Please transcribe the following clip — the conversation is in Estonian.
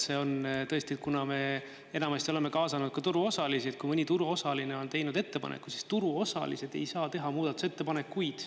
See on tõesti, et kuna me enamasti oleme kaasanud ka turuosalisi, kui mõni turuosaline on teinud ettepaneku, siis turuosalised ei saa teha muudatusettepanekuid.